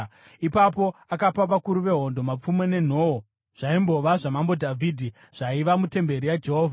Ipapo akapa vakuru vehondo mapfumo nenhoo zvaimbova zvaMambo Dhavhidhi zvaiva mutemberi yaJehovha.